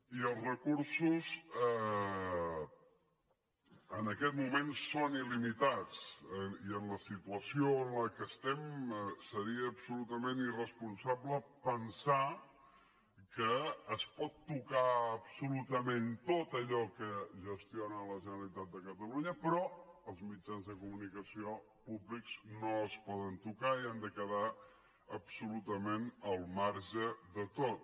i els recursos en aquest moment són ilsituació en què estem seria absolutament irresponsable pensar que es pot tocar absolutament tot allò que gestiona la generalitat de catalunya però els mitjans de comunicació públics no es poden tocar i han de quedar absolutament al marge de tot